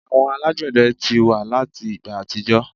Àwọn alagbẹdẹ ti wa lati igba atijọ